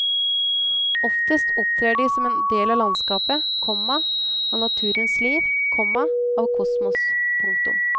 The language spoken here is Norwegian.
Oftest opptrer de som en del av landskapet, komma av naturens liv, komma av kosmos. punktum